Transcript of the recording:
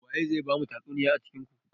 Waye zai bamu tatsuniya a cikin ku?